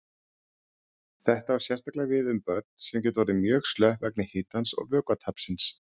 Þetta á sérstaklega við um börn sem geta orðið mjög slöpp vegna hitans og vökvatapsins.